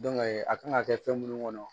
a kan ka kɛ fɛn munnu kɔnɔ